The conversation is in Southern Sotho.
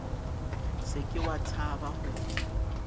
se ke wa tshaba ho